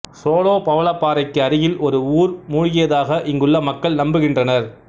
solo பவளப்பாறைக்கு அருகில் ஒரு ஊர் மூழ்கியதாக இங்குள்ள மக்கள் நம்புகின்றனர்